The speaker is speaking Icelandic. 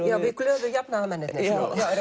við glöðu jafnaðarmennirnir